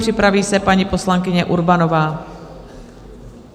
Připraví se paní poslankyně Urbanová.